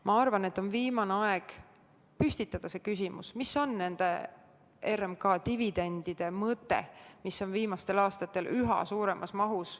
Ma arvan, et on viimane aeg püstitada küsimus, mis on nende RMK dividendide mõte, mida on viimastel aastatel võetud üha suuremas mahus.